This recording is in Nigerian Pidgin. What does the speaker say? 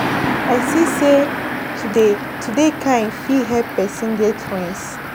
I see sey to dey kind fit help pesin get friends.